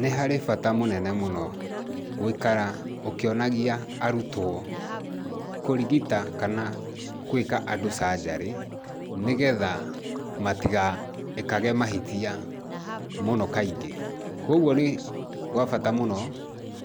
Nĩ harĩ bata mũnene mũno gũikara ũkĩonagia arutwo kũrigita kana gwĩka andũ canjarĩ, nĩgetha matigekage mahĩtia mũno kaingĩ. Koguo nĩ gwa bata mũno